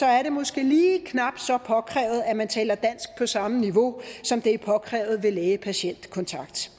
er det måske lige knap så påkrævet at man taler dansk på samme niveau som det er påkrævet ved læge patient kontakt